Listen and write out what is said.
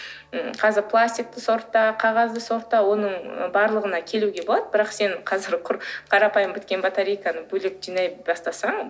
м қазір пластикті сортта қағазды сортта оның барлығына келуге болады бірақ сен қазір құр қарапайым біткен батарейканы бөлек жинай бастасаң